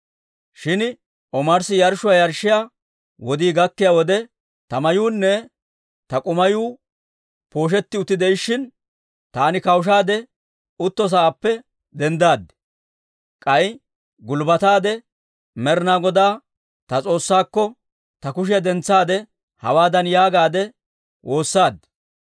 Shin omarssi yarshshuwaa yarshshiyaa wodii gakkiyaa wode, ta mayuunne ta k'umayu pooshetti utti de'ishshin, taani kawushaade utto sa'aappe denddaad. K'ay gulbbataade Med'ina Godaa, ta S'oossaakko, ta kushiyaa dentsaade, hawaadan yaagaadde woossaad;